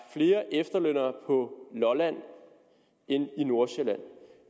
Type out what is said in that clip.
flere efterlønnere på lolland end i nordsjælland